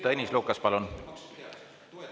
Tõnis Lukas, palun!